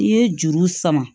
N'i ye juru sama